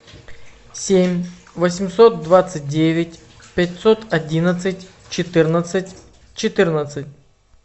семь восемьсот двадцать девять пятьсот одиннадцать четырнадцать четырнадцать